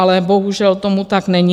Ale bohužel tomu tak není.